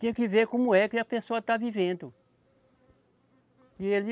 Tinha que ver como é que a pessoa está vivendo. E ele